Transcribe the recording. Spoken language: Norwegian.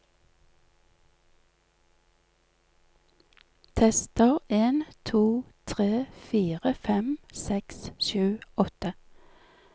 Tester en to tre fire fem seks sju åtte